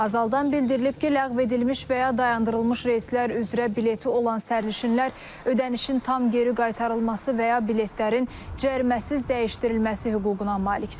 Azaldan bildirilib ki, ləğv edilmiş və ya dayandırılmış reyslər üzrə bileti olan sərnişinlər ödənişin tam geri qaytarılması və ya biletlərin cəriməsiz dəyişdirilməsi hüququna malikdirlər.